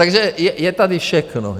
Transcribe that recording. Takže je tady všechno.